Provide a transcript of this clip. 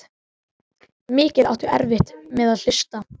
Mikið áttu erfitt með að hlusta.